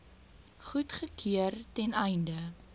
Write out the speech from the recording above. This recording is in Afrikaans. goedgekeur ten einde